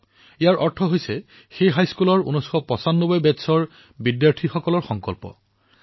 সংকল্প পচানব্বৈৰ অৰ্থ হল সেই হাইস্কুলৰ ১৯৯৫ চনৰ শিক্ষাৰ্থীৰ যি বেটচ্ আছিল তেওঁলোকৰ এই সংকল্প